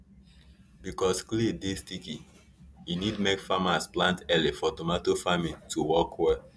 because clay dey sticky e need make farmers plant early for tomato farming to work well